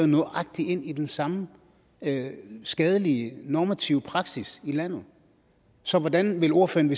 nøjagtig ind i den samme skadelige normative praksis i landet så hvordan vil ordføreren